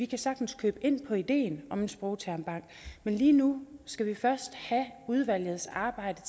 kan sagtens købe ind på ideen om en sprogtermbank men lige nu skal vi først have udvalgets arbejde